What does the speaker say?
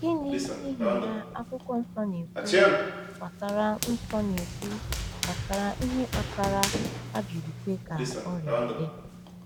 Gịnị, n’ihi ya, Akwụkwọ Nsọ na-ekwu gbasara Nsọ na-ekwu gbasara ihe kpatara a jiri kwe ka ọrịa dị?